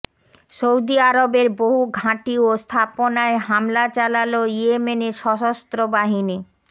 Saudi আরবের বহু ঘাঁটি ও স্থাপনায় হামলা চালাল ইয়েমেনের সশস্ত্র বাহিনী